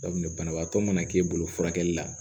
banabaatɔ mana k'e bolo furakɛli la